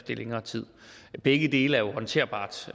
i længere tid begge dele er jo håndterbart